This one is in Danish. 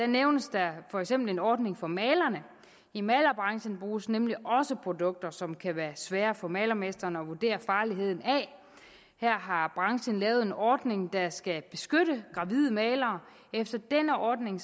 nævnes der for eksempel en ordning for malerne i malerbranchen bruges nemlig også produkter som kan være svært for malermesteren at vurdere farligheden af her har branchen lavet en ordning der skal beskytte gravide malere efter denne ordning